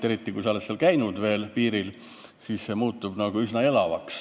Eriti, kui sa oled piiril käinud, siis see mõjub üsna elavalt.